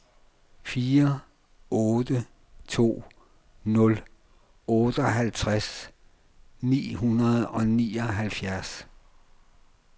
fire otte to nul otteoghalvtreds ni hundrede og nioghalvfjerds